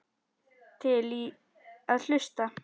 Til í að hlusta.